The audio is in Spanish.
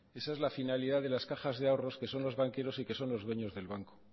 esa es la finalidad de las cajas de ahorros que son los banqueros y que son los dueños del banco